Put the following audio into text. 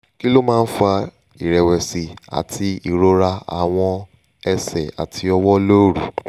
kí ló máa ń fa ìrẹ̀wẹ̀sì àti irora àwọn ẹsẹ̀ àti ọwọ́ lóru?